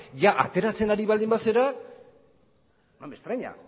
jadaa ateratzen baldin bazara no me extraña